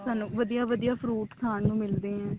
ਸਾਨੂੰ ਵਧੀਆ ਵਧੀਆ fruit ਖਾਣ ਨੂੰ ਮਿਲਦੇ ਆ